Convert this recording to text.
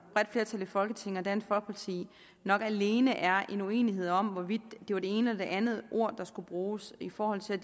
bredt flertal i folketinget og dansk folkeparti nok alene er en uenighed om hvorvidt det var det ene eller det andet ord der skulle bruges i forhold til